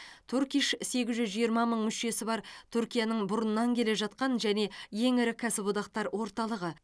турк иш сегіз жүз жиырма мың мүшесі бар түркияның бұрыннан келе жатқан және ең ірі кәсіподақтар орталығы